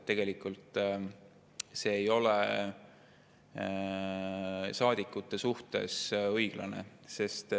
Tegelikult see ei ole saadikute suhtes õiglane.